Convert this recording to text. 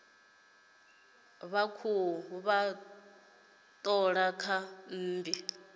khou vha thola kha mmbi